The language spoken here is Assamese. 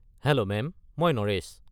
Hello ma'am. মই নৰেশ।